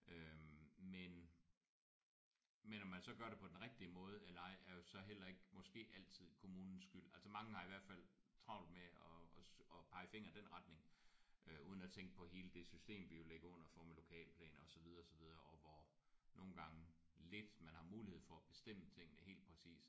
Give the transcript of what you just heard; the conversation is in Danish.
Øh men men om man så gør det på den rigtige måde eller ej er jo så heller ikke måske altid kommunens skyld. Altså mange har i hvert fald travlt med at at pege fingeren i den retning øh uden at tænke på hele det system vi jo ligger under for med lokalplaner og så videre så videre og hvor nogle gange lidt man har mulighed for at bestemme tingene helt præcist